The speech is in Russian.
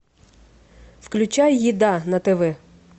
включай еда на тв